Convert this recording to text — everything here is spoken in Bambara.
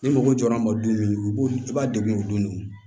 Ni mɔgɔ jɔra an ma don min u b'u b'a degun o don